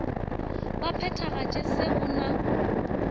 ba phethagatšago se go na